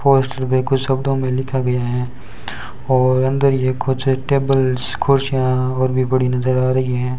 Poster भी कुछ शब्दों में लिखा गया है और अंदर ये कुछ टेबल्स कुर्सियां और भी बड़ी नजर आ रही हैं।